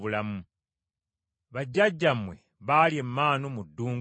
Bajjajjammwe baalya emaanu mu ddungu ne bafa.